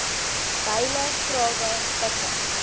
byle grawe pikke